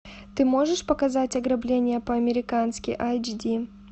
ты можешь показать ограбление по американски айч ди